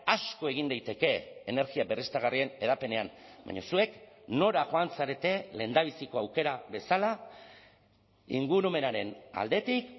asko egin daiteke energia berriztagarrien hedapenean baina zuek nora joan zarete lehendabiziko aukera bezala ingurumenaren aldetik